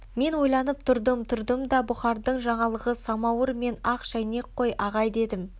мен ойланып тұрдым тұрдым да бұхардың жаңалығы самауыр мен ақ шәйнек қой ағай дедім